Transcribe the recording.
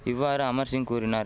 இவ்வாறு அமர்சிங் கூறினார்